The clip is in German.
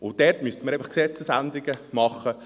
Dort müssen wir Gesetzesänderungen machen.